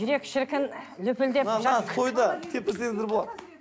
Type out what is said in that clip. жүрек шіркін лүпілдеп теппесеңіздер болады